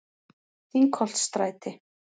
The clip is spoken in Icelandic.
Þingholtsstræti